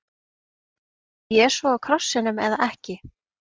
Dó Jesú á krossinum eða ekki?